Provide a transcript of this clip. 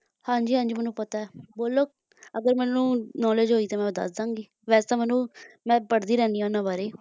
ਹਾਂਜੀ ਹਾਂਜੀ ਮੈਨੂੰ ਪਤਾ ਬੋਲੋ ਅਗਰ ਮੈਨੂੰ knowledge ਹੋਏ ਤਾਂ ਮੈਂ ਦੱਸ ਦਿਆਂਗੀ ਵੈਸੇ ਤਾਂ ਓਹਨੂੰ ਮੈਂ ਪੜ੍ਹਦੀ ਰਹਿੰਦੀ ਹਾਂ ਉਨ੍ਹਾਂ ਬਾਰੇ